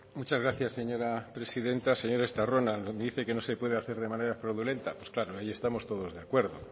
muchas gracias señora presidenta señor estarrona me dice que no se puede hacer de manera fraudulenta pues claro ahí estamos todos de acuerdo